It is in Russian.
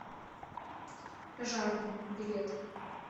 жарден билет